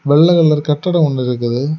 வெள்ள கலர் கட்டடோ ஒன்னு இருக்குது.